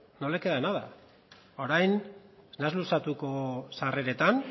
no le queda orain ez naiz luzatuko sarreretan